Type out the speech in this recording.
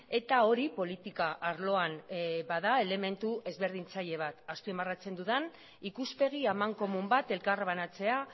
eta hori politika arloan bada elementu ezberdintzaile bat azpimarratzen dudan ikuspegi amankomun bat elkarbanatzea